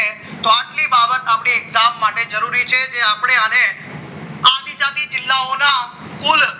તો આટલી બાબત આપણને exam માટે જરૂરી છે તે આપણે આને આવી આવી જિલ્લાઓના કુલ